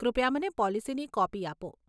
કૃપયા મને પોલીસીની કોપી આપો.